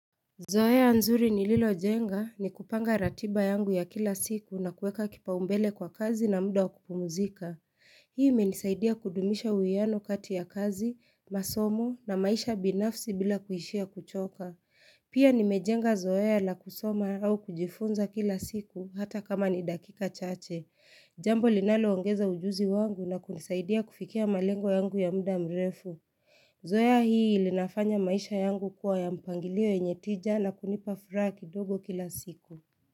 Zoea nzuri ni lilo jenga ni kupanga ratiba yangu ya kila siku na kueka kipaumbele kwa kazi na muda wakupumuzika. Hii menisaidia kudumisha uwiano kati ya kazi, masomo na maisha binafsi bila kuishia kuchoka. Pia nimejenga Zoea la kusoma au kujifunza kila siku hata kama ni dakika chache. Jambo linalo ongeza ujuzi wangu na kunisaidia kufikia malengo yangu ya muda mrefu. Zoea hii linafanya maisha yangu kuwa ya mpangilio yenye tija na kunipa furaha kidogo kila siku.